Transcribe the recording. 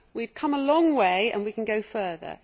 We have come a long way and we can go further.